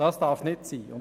Dies darf nicht sein.